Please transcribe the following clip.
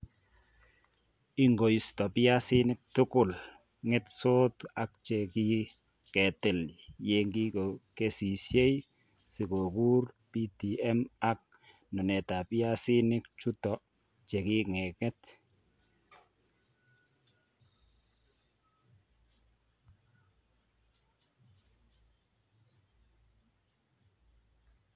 Ingoisto piasinik tugul ng'etsot ak che ki ketil ye kingo kesisyei, si kogur PTM ak nunetap piasinik chuto che king'et.